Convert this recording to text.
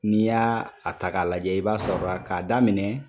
N'i y'a a ta k'a lajɛ, i b'a sɔrɔ la k'a daminɛ